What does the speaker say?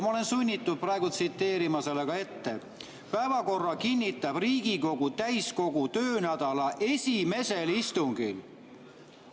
Ma olen sunnitud praegu seda tsiteerima: "Päevakorra kinnitab Riigikogu täiskogu töönädala esimesel istungil.